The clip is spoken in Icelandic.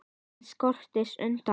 Enginn skorist undan.